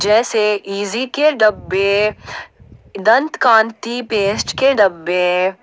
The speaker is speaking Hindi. जैसे इजी के डब्बे दंत कांति पेस्ट के डब्बे--